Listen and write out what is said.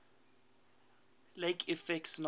lake effect snow